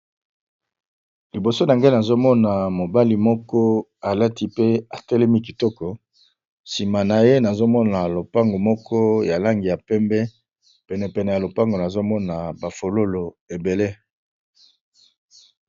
Liboso nangai nazomona mobali moko alati pe atelemi kitoko sima naye nazomona lobango moko ya langi ya pembe penepene nazomona ba fololo.